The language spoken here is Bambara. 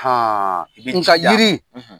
? nka jiri